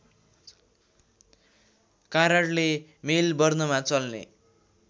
कारणले मेलबर्नमा चल्ने